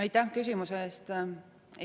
Aitäh küsimuse eest!